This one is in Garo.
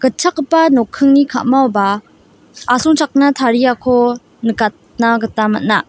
nokkingni ka·maoba asongchakna tariako nikatna gita man·a.